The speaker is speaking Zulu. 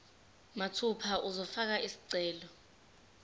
mathupha uzofaka isicelo